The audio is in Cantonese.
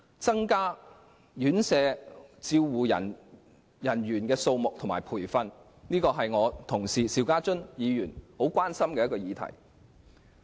增加院舍護理員的數目和培訓，是我同事邵家臻議員十分關心的議題。